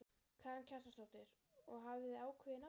Karen Kjartansdóttir: Og hafið þið ákveðið nafnið?